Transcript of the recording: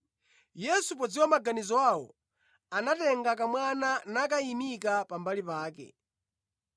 Yesu podziwa maganizo awo, anatenga kamwana nakayimika pambali pake.